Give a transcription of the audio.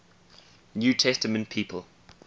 new testament people